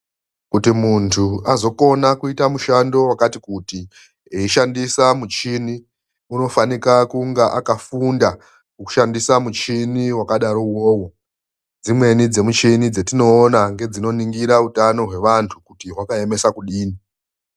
Kuti mundu azokona kuita mushando wakati kuti eishandisa michini anofanika kunge akafunda kushandisa michini wakadaro uwowo. Dzimweni dzemichini dzatinoona ngedzinoningira hutano wemuntu kuti hwakaemesa kudini.